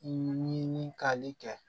Ɲinikali kɛ